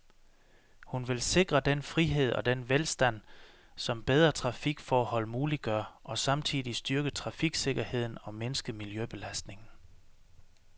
Hun vil sikre den frihed og den velstand, som bedre trafikforhold muliggør, og samtidig styrke trafiksikkerheden og mindske miljøbelastningen.